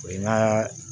O ye n ka